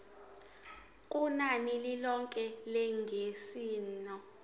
kunani lilonke lengeniso